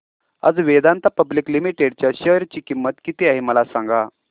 आज Vedanta public limited च्या share ची किंमत किती आहे मला सांगा